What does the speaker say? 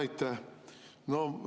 Aitäh!